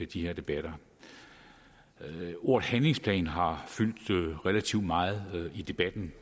de her debatter ordet handlingsplan har fyldt relativt meget i debatten